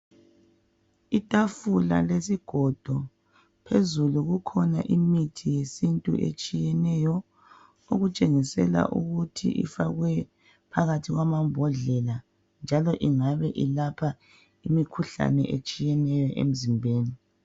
Itafula lesigodo, phezulu kukhona imithi yesintu etshiyeneyo okutshengisela ukuthi ifakwe phakathi kwamambodlela njalo engabe elapha imikhuhlane etshiyeneyo emzimbeni.